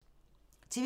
TV 2